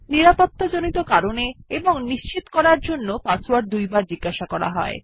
নিরাপত্তাজড়িত কারণে এবং নিশ্চিত করার জন্য পাসওয়ার্ড দুবার জিজ্ঞাসা করা হয়